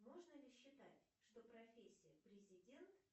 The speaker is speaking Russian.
можно ли считать что профессия президент